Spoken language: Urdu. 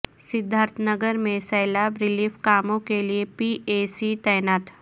سدھارتھ نگر میں سیلاب ریلیف کاموں کے لئے پی اے سی تعینات